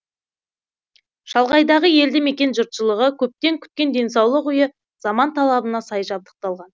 шалғайдағы елді мекен жұртшылығы көптен күткен денсаулық үйі заман талабына сай жабдықталған